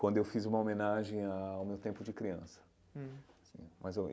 Quando eu fiz uma homenagem ao meu tempo de criança hum mas eu.